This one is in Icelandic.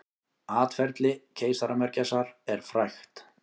Atferli keisaramörgæsar er frægt.